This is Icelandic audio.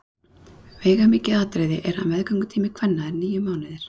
Veigamikið atriði er að meðgöngutími kvenna er níu mánuðir.